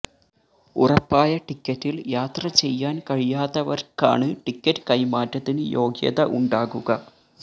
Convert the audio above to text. ഉറപ്പായ ടിക്കറ്റില് യാത്ര ചെയ്യാന് കഴിയാത്തവര്ക്കാണ് ടിക്കറ്റ് കൈമാറ്റത്തിന് യോഗ്യത ഉണ്ടാകുക